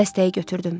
Dəstəyi götürdüm.